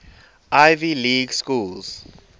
ivy league schools